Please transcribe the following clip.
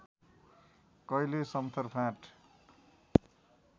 कैले समथर फाँट